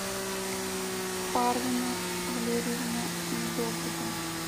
парвина валерьевна недобуга